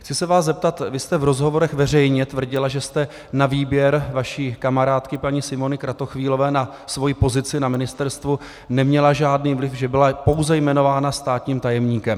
Chci se vás zeptat: vy jste v rozhovorech veřejně tvrdila, že jste na výběr vaší kamarádky paní Simony Kratochvílové na svoji (?) pozici na Ministerstvu neměla žádný vliv, že byla pouze jmenována státním tajemníkem.